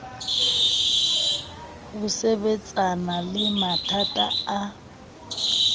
ho sebetsana le mathata a